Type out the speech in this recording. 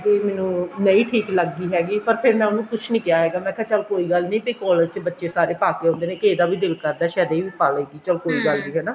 ਕੇ ਮੈਨੂੰ ਨਹੀਂ ਠੀਕ ਲੱਗੀ ਹੈਗੀ ਫੇਰ ਮੈਂ ਉਹਨੂੰ ਕੁੱਛ ਨਹੀਂ ਕਿਹਾ ਹੈਗਾ ਮੈਂ ਕਿਹਾ ਚੱਲ ਕੋਈ ਗੱਲ ਨਹੀਂ ਜੇ collage ਚ ਬੱਚੇ ਸਾਰੇ ਪਾਕੇ ਆਉਂਦੇ ਨੇ ਤਾਂ ਏਦਾ ਵੀ ਦਿਲ ਕਰਦਾ ਚੱਲ ਇਹ ਵੀ ਪਾਲੇਗੀ ਚੱਲ ਕੋਈ ਗੱਲ ਨਹੀਂ ਹਨਾ